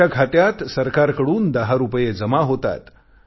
तुमच्या खात्यात सरकारकडून 10 रुपये जमा होतील